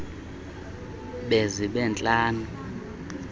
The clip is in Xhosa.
de zibe ntlanu